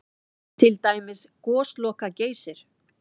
Til dæmis Gosloka-Geysir?